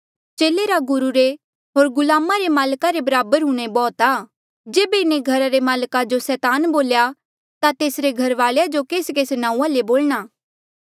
चेले रा गुरु रे होर गुलामा रे माल्का रे बराबर हूंणां ई बौह्त आ जेबे इन्हें घरा रे माल्का जो सैतान बोल्या ता तेसरे घरवाल्या जो केसकेस नांऊँआं ले बोलणा